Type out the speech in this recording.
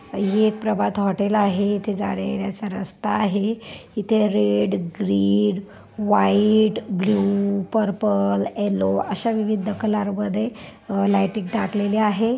ही एक प्रभात हॉटेल आहे इथे जाण्यायेण्याचा रस्ता आहे इथे red green white blue purple yellow अशा विविध कलर मध्ये लायटिंग टाकलेली आहे.